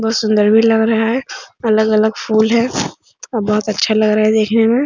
बहुत सुन्दर भी लग रहा है अलग-अलग फूल हैं और बहुत अच्छा लग रहा है देखने में।